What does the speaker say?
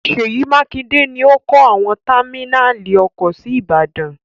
Ṣèyí Mákinde ní ọ kọ́ àwọn támínàlí ọkọ̀ sí Ìbàdàn.